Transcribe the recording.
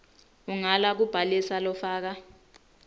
ungala kubhalisa lofaka